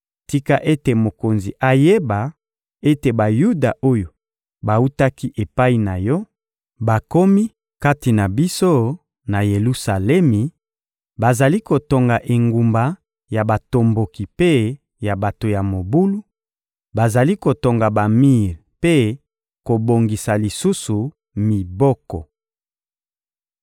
Tika ete mokonzi ayeba ete Bayuda oyo bawutaki epai na yo bakomi kati na biso, na Yelusalemi; bazali kotonga engumba ya batomboki mpe ya bato ya mobulu, bazali kotonga bamir mpe kobongisa lisusu miboko.